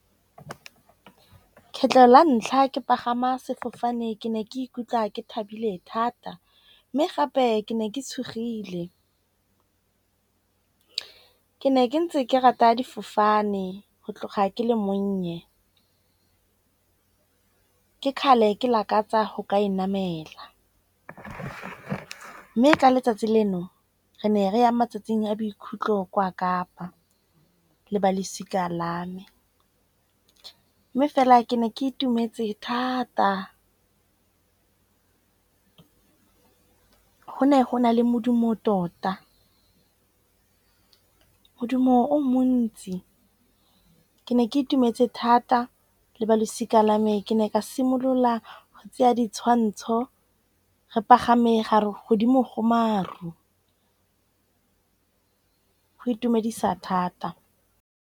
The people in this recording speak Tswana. Kgetlho la ntlha ke pagama sefofane ke ne ke ikutlwa ke thabile thata. Mme gape ke ne ke tshogile. Ke ne ke ntse ke rata difofane go tloga ke le monnye. Ke kgale ke lakatsa go ka e namela. Mme ka letsatsi leno re ne re ya matsatsing a bokhutlo kwa Kapa le ba losika lame. Mme fela ke ne ke itumetse thata go ne go na le modumo tota. Modumo o montsi. Ke ne ke itumetse thata le balosika lame. Ke ne ka simolola go tseya ditshwantsho re pagame ga re godimo go maru go itumedisa thata.